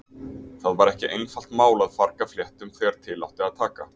Það var ekki einfalt mál að farga fléttum þegar til átti að taka.